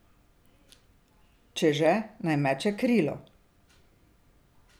Če že, naj meče krilo.